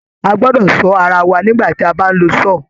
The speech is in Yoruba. A gbọ́dọ̀ sọ ara wà nígbà ti a bá ń lo saw.